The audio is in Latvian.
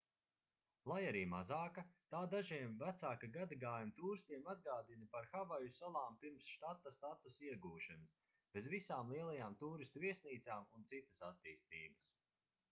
lai arī mazāka tā dažiem vecāka gadagājuma tūristiem atgādina par havaju salām pirms štata statusa iegūšanas bez visām lielajām tūristu viesnīcām un citas attīstības